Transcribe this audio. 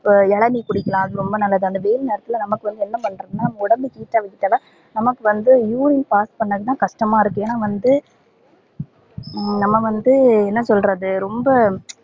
ஹம் இளநீ குடிக்கலாம் அது ரொம்ப நல்லது அந்த வெயில் நேரத்துல நமக்கு வந்து என்ன பண்றதுனா உடம்ப heat டா வச்சிட்டாதா நமக்கு வந்து urine pass பண்ண ரொம்ப கஷ்டமா இருக்கு ஏனா வந்த நம்ப வந்து என்ன சொல்றது ரொம்ப